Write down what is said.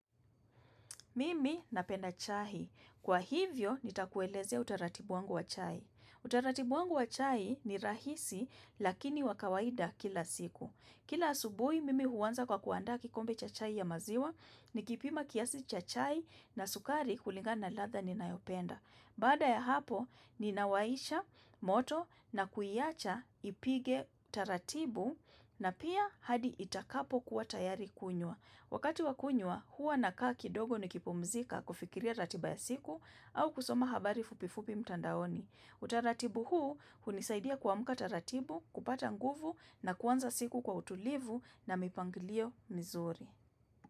Mimi napenda chai. Kwa hivyo, nitakueleze utaratibu wangu wa chai. Utaratibu wangu wa chai ni rahisi lakini wakawaida kila siku. Kila asubui, mimi huanza kwa kuandaa kikombe cha chai ya maziwa, nikipima kiasi cha chai na sukari kulinga na ladha ninayopenda. Bada ya hapo, ninawaisha moto na kuiacha ipige taratibu na pia hadi itakapo kuwa tayari kunywa. Wakati wakunywa, huwa na kaa kidogo ni kipumzika kufikiria ratiba ya siku au kusoma habari fupifupi mtandaoni. Utaratibu huu, hunisaidia kuamka ratibu, kupata nguvu na kuanza siku kwa utulivu na mipangilio mizuri.